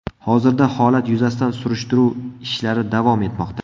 Hozirda holat yuzasidan surishtiruv ishlari davom etmoqda.